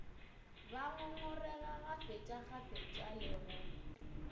ba ngongorega kgafetšakgafetša le go